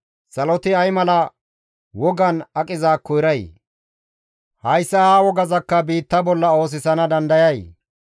Saloti ay mala wogan a qizaakko eray? Hayssa ha wogazakka biitta bolla oosisana dandayay?